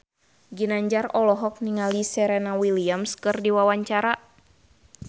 Ginanjar olohok ningali Serena Williams keur diwawancara